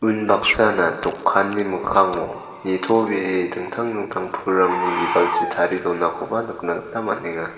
unbaksana dokanni mikkango nitobee dingtang dingtang pulrangni bibalchi tarie donakoba nikna gita man·enga.